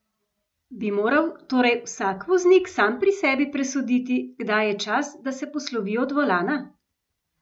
Bi moral torej vsak voznik sam pri sebi presoditi, kdaj je čas, da se poslovi od volana?